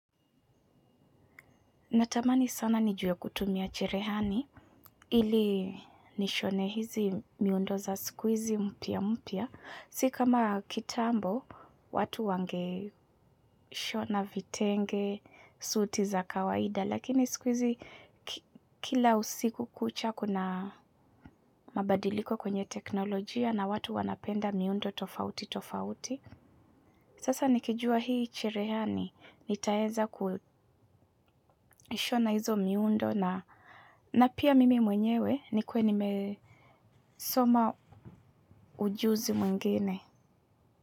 Natamani sana nijue kutumia cherehani, ili nishone hizi miundo za sikuizi mpya mpya. Sikama kitambo, watu wange shona vitenge, suti za kawaida, lakini sikuizi kila usiku kucha kuna mabadiliko kwenye teknolojia na watu wanapenda miundo tofauti tofauti. Sasa nikijua hii cherehani, nitaeza kushona hizo miundo na pia mimi mwenyewe ni kuwe nimesoma ujuzi mwingine.